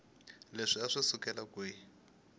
leswaku a swi sukela kwihi